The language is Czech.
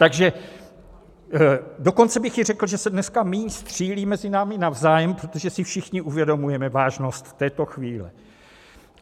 Takže dokonce bych i řekl, že se dneska míň střílí mezi námi navzájem, protože si všichni uvědomujeme vážnost této chvíle.